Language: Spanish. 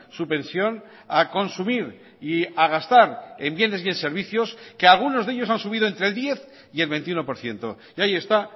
su pensión a consumir y a gastar en bienes y en servicios que algunos de ellos han subido entre el diez y el veintiuno por ciento y ahí está